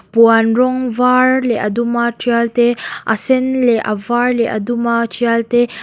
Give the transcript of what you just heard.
puan rawng var leh a dum a tial te a sen leh a var leh a dum a tial te--